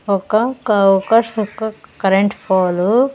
ఒక కో-- ఒక ఒక కరెంట్ పోలు .